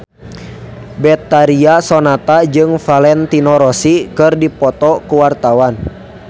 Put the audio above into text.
Betharia Sonata jeung Valentino Rossi keur dipoto ku wartawan